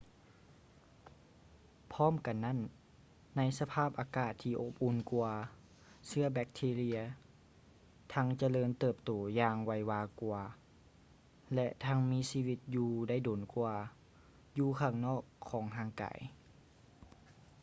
ພ້ອມກັນນັ້ນ ໃນສະພາບອາກາດທີ່ອົບອຸ່ນກ່ວາ ເຊື້ອແບັກທີເຣັຍ ທັງຈະເລີນເຕີບໂຕຢ່າງໄວວາກ່ວາ ແລະ ທັງມີຊີວິດຢູ່ໄດ້ດົນກ່ວາ ຢູ່ຂ້າງນອກຂອງຮ່າງກາຍ